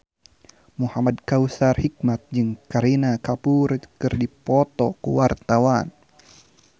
Muhamad Kautsar Hikmat jeung Kareena Kapoor keur dipoto ku wartawan